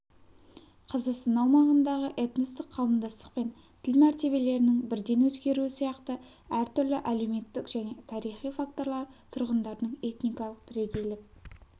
қазақстан аумағындағы этностық қауымдастық пен тіл мәртебелерінің бірден өзгеруі сияқты әртүрлі әлеуметтік және тарихи факторлар тұрғындардың этникалық бірегейлік